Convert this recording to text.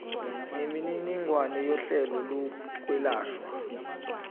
nemininingwane yohlelo lokwelashwa